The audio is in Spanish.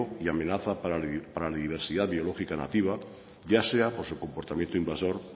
y amenaza para la diversidad biológica nativa ya sea por su comportamiento invasor